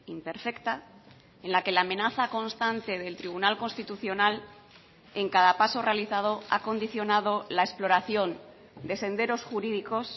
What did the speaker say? imperfecta en la que la amenaza constante del tribunal constitucional en cada paso realizado ha condicionado la exploración de senderos jurídicos